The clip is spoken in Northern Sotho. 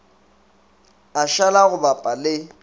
a šala go bapa le